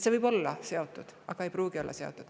See võib olla sellega seotud, aga ei pruugi olla.